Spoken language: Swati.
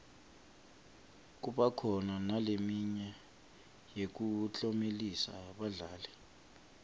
kuba khona naleminye yekuklomelisa badlali